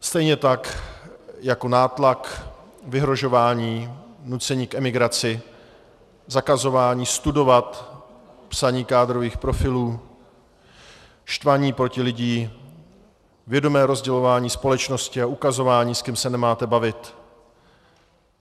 Stejně tak jako nátlak, vyhrožování, nucení k emigraci, zakazování studovat, psaní kádrových profilů, štvaní proti lidem, vědomé rozdělování společnosti a ukazování, s kým se nemáte bavit.